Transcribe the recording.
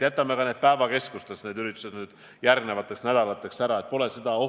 Jätame ka päevakeskustes need järgnevateks nädalateks plaanitud üritused ära.